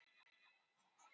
Var eitthvað að hjá Halla?